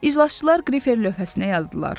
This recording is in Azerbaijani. İcraçılar qrifər lövhəsinə yazdılar.